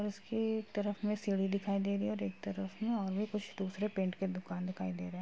उसके एक तरफ में सीढ़ी दिखाई दे रही है और एक तरफ में और भी कुछ दूसरे पेंट के दुकान दिखाई दे रहे हैं।